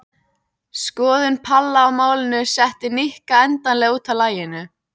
Skoðun Palla á málinu setti Nikka endanlega út af laginu.